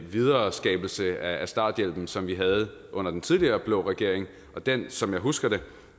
videreskabelse af starthjælpen som vi havde under den tidligere blå regering og den som jeg husker det